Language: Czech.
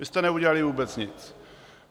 Vy jste neudělali vůbec nic!